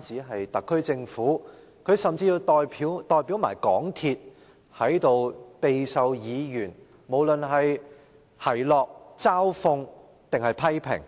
局、特區政府，甚至要代表香港鐵路有限公司在這裏備受議員的奚落、嘲諷或批評。